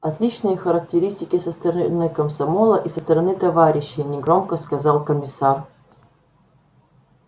отличные характеристики со стороны комсомола и со стороны товарищей негромко сказал комиссар